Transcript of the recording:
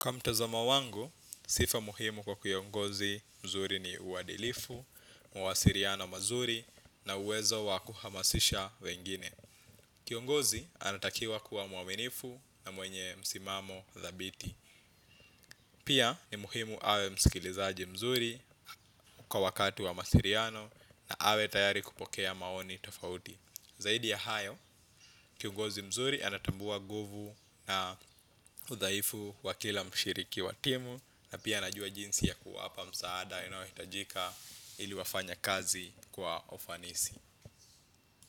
Kwa mtazamo wangu, sifa muhimu kwa kiongozi mzuri ni uadilifu, mawasiliano mazuri na uwezo wa kuhamasisha wengine. Kiongozi anatakiwa kuwa mwaminifu na mwenye msimamo dhabiti. Pia ni muhimu awe msikilizaji mzuri kwa wakati wa masiliano na awe tayari kupokea maoni tofauti. Zaidi ya hayo, kiongozi mzuri anatambua nguvu na udhaifu wa kila mshiriki wa timu. Na pia anajua jinsi ya kuwapa msaada inayohitajika ili wafanye kazi kwa ufanisi.